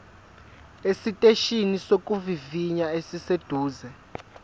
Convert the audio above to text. esiteshini sokuvivinya esiseduze